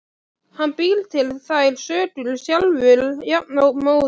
Hann býr til þær sögur sjálfur jafnóðum.